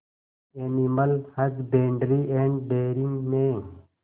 animal husbandry and dairying में